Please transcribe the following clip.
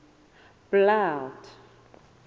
blood